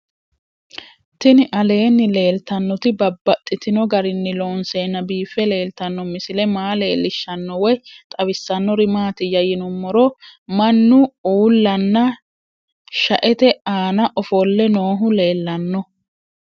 Tinni aleenni leelittannotti babaxxittinno garinni loonseenna biiffe leelittanno misile maa leelishshanno woy xawisannori maattiya yinummoro mannu uullanna shaette aanna offolle noohu leelanno